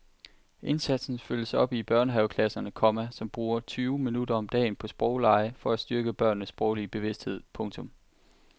Indsatsen følges op i børnehaveklasserne, komma som bruger tyve minutter om dagen på sproglege for at styrke børnenes sproglige bevidsthed. punktum